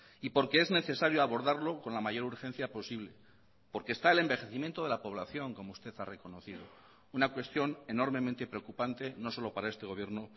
y porque es necesario abordarlo con la mayor urgencia posible porque está el envejecimiento de la población como usted ha reconocido una cuestión enormemente preocupante no solo para este gobierno